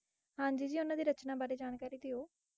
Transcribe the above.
ਹਾਂਜੀ ਉਹਨਾ ਦੀ ਰਚਨਾ ਬਾਰੇ ਜਾਣਕਾਰੀ ਦਿਓ